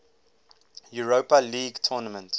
europa league tournament